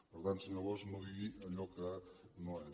per tant senyor bosch no digui allò que no és